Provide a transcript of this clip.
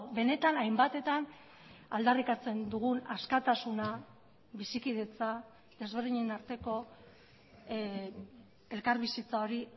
benetan hainbatetan aldarrikatzen dugun askatasuna bizikidetza desberdinen arteko elkarbizitza hori